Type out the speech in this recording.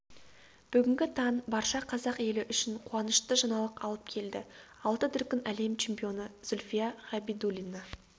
бүгінгі таң барша қазақ елі үшін қуанышты жаңалық алып келді алты дүркін әлем чемпионы зүлфия габидуллина